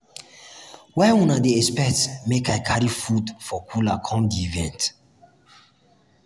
why una dey expect make i carry food for cooler come di event?